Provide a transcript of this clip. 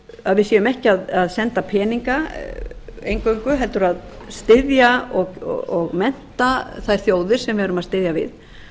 að við séum ekki að senda peninga eingöngu heldur að styðja og mennta þær þjóðir sem við erum að styðja við